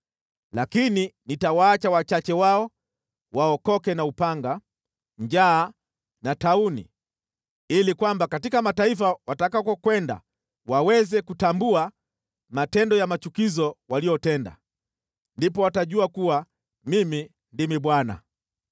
Lakini nitawaacha wachache wao waokoke na upanga, njaa na tauni, ili kwamba katika mataifa watakakokwenda waweze kutambua matendo ya machukizo waliotenda. Ndipo watajua kuwa Mimi ndimi Bwana .”